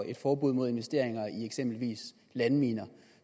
et forbud mod investeringer i eksempelvis landminer